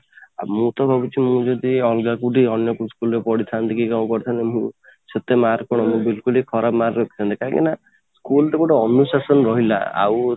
ଆଉ ମୁଁ ତ ଭାବୁଛି ମୁଁ ଯଦି ଅଲଗା ଯଦି ଅନ୍ୟ କୋଉ school ରେ ପଢ଼ିଥାନ୍ତି କି କ'ଣ କରିଥାନ୍ତି ମୁଁ ସେତେ mark ବିଲକୁଲ ବି ଖରାପ mark ରଖିଥାନ୍ତି କାହିଁକି ନା school ଟା ଗୋଟେ ଅନୁଶାସନ ରହିଲା ଆଉ